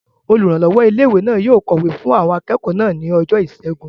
Olùrànlọ́wọ́ ilé-ìwé náà yóò kọ̀wé fún àwọn akẹ́kọ̀ọ́ náà ní ọjọ́ ìṣẹ́gun